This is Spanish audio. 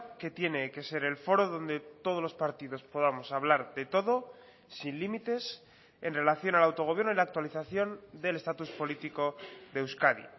que tiene que ser el foro donde todos los partidos podamos hablar de todo sin límites en relación al autogobierno y la actualización del estatus político de euskadi